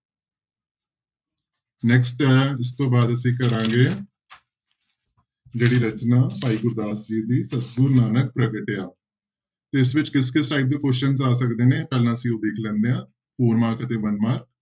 Next ਹੈ ਇਸ ਤੋਂ ਬਾਅਦ ਅਸੀਂ ਕਰਾਂਗੇ ਜਿਹੜੀ ਰਚਨਾ ਭਾਈ ਗੁਰਦਾਸ ਜੀ ਦੀ ਸਤਿਗੁਰੁ ਨਾਨਕ ਪ੍ਰਗਟਿਆ, ਤੇ ਇਸ ਵਿੱਚ ਕਿਸ ਕਿਸ type ਦੇ questions ਆ ਸਕਦੇ ਨੇ ਪਹਿਲਾਂ ਅਸੀਂ ਉਹ ਦੇਖ ਲੈਂਦੇ ਹਾਂ four mark ਅਤੇ one mark